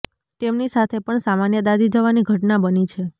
તેમની સાથે પણ સામાન્ય દાઝી જવાની ઘટના બની છે